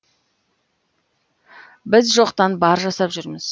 біз жоқтан бар жасап жүрміз